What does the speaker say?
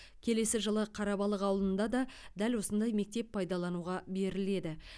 келесі жылы қарабалық ауылында да дәл осындай мектеп пайдалануға беріледі